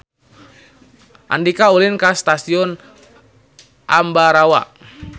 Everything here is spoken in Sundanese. Andika ulin ka Stasiun Ambarawa